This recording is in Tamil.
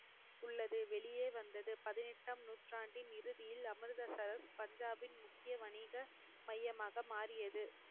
உள்ளது வெளியே வந்தது பதினெட்டாம் நூற்றாண்டின் இறுதியில் அமிர்தசரஸ் பஞ்சாபின் முக்கிய வணிக மையமாக மாறியது